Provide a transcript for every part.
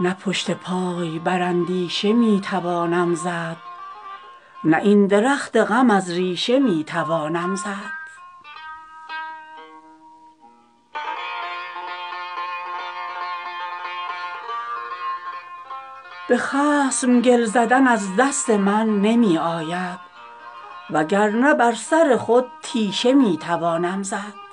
نه پشت پای بر اندیشه می توانم زد نه این درخت غم از ریشه می توانم زد به خصم گل زدن از دست من نمی آید وگرنه بر سر خود تیشه می توانم زد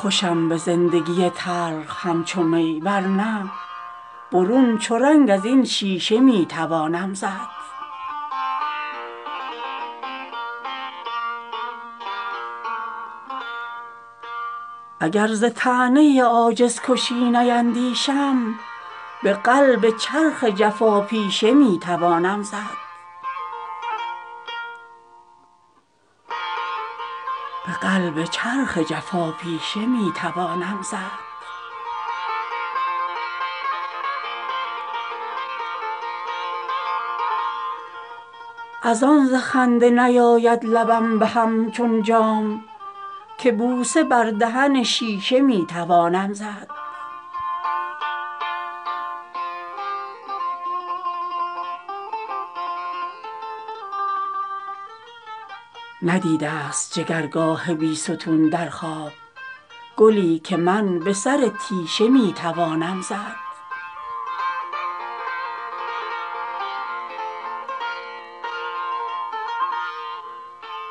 خوشم به زندگی تلخ همچو می ورنه برون چو رنگ ازین شیشه می توانم زد چه نسبت است به میراب جوی شیر مرا به تیشه من رگ اندیشه می توانم زد ز چشم شیر مکافات نیستم ایمن وگرنه برق بر این بیشه می توانم زد ازان ز خنده نیاید لبم بهم چون جام که بوسه بر دهن شیشه می توانم زد اگر ز طعنه عاجزکشی نیندیشم به قلب چرخ جفاپیشه می توانم زد ندیده است جگرگاه بیستون در خواب گلی که من به سر تیشه می توانم زد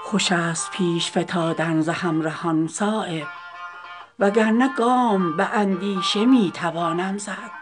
خوش است پیش فتادن ز همرهان صایب وگرنه گام به اندیشه می توانم زد